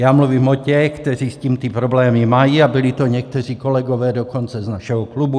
Já mluvím o těch, kteří s tím ty problémy mají, a byli to někteří kolegové dokonce z našeho klubu.